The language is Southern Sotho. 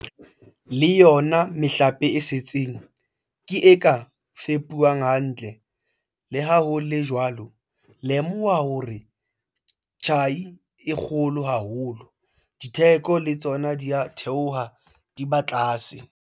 Le yona mehlape e setseng ke e ka fepuwang hantle. Le ha ho le jwalo, lemoha hore ha tjhai e le kgolo haholo, ditheko le tsona di a theoha, di ba tlase.